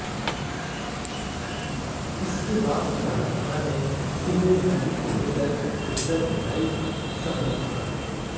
इसके बाद भी कहा जाता है कि नोटबंदी को लेकर रिज़र्व बैंक सहमत था